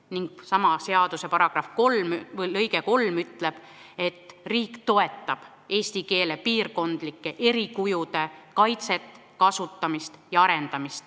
Ning sama seaduse § 3 lõige 3 ütleb, et riik toetab eesti keele piirkondlike erikujude kaitset, kasutamist ja arendamist.